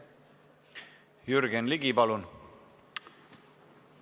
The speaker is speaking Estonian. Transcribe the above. Jürgen Ligi, palun!